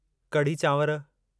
कड़ी चांवरु